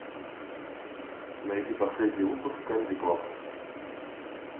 найди последний выпуск камеди клаб